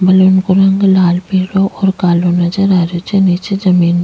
balloon को रंग लाल पिलो और कालो नजर आ रहियो छे नीचे जमीन --